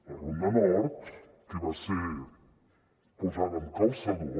la ronda nord que va ser posada amb calçador